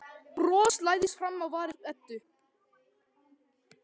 Bros læðist fram á varir Eddu.